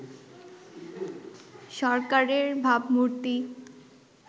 সরকারের ভাবমূর্তি